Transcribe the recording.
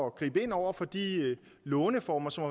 at gribe ind over for de låneformer som